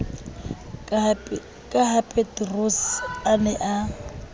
ka hapeterose a ne a